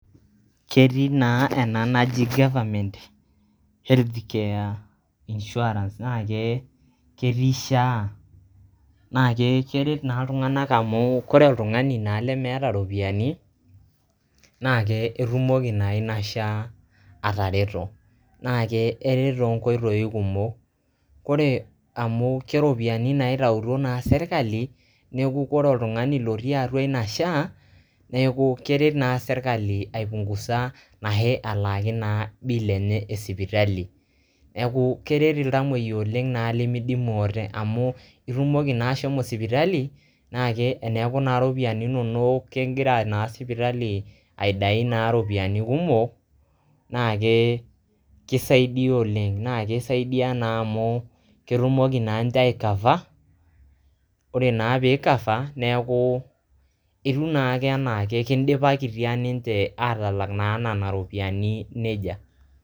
Ketii naa ena naji goverment healthcare insurance na ke ketii SHA na keret naa iltunganak amu ore oltungani naa lemeeta iropiyiani naa ketumoki na ina SHA atareto . na ke eret too nkoitoi kumok . ore amu ke ropiyiani naa naitaituo naa sirkali neku ore oltungani lotii atua ina SHA neku keret naa sirkali aipungusa na he elaaki naa bill enye e sipitali. neku keret iltamoyiak oleng lemidimu ate amu itumoki naa ashomo sipitali na ke teneaku naa iropiyiani inonok kegira naa sipitali aidai naa iropiyiani kumok na ke kisaidia oleng ke kisaidia naa amu ketumoki naa nche ae cover ore naa pi cover neku itum naake anaake kindipakitia ninche atalak naa nena ropiyiani nejia.